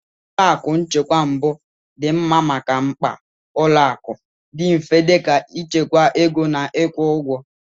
Ụlọ akụ nchekwa mbụ dị mma maka mkpa ụlọ akụ dị mfe dị ka ịchekwa ego na ịkwụ ụgwọ.